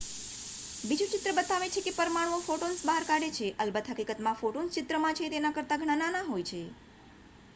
બીજું ચિત્ર બતાવે છે કે પરમાણુઓ ફોટોન્સ બહાર કાઢે છે અલબત હકીકતમાં ફોટોન્સ ચિત્રમાં છે તેના કરતા ઘણા નાના હોય છે